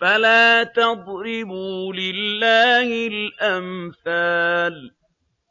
فَلَا تَضْرِبُوا لِلَّهِ الْأَمْثَالَ ۚ